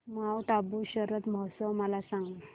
Mount Abu Sharad Mahotsav मला सांग